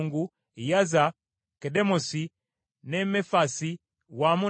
Kedemosi ne Mefaasi wamu n’amalundiro byabyo;